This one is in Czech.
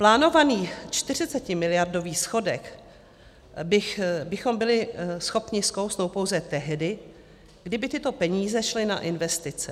Plánovaný 40miliardový schodek bychom byli schopni skousnout pouze tehdy, kdyby tyto peníze šly na investice.